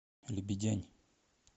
лебедянь